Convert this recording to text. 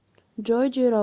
джой джи рок